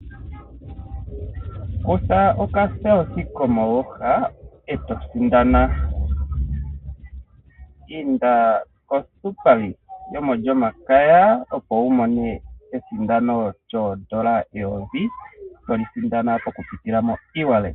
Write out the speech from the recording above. Kutha okathano kapaumwene komooha e to sindana. Inda ko Super League yo molyomakaya opo.wu mone esindano lyoondola eyovi, toli sindana mokupitila mo ewallet.